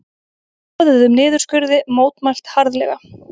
Boðuðum niðurskurði mótmælt harðlega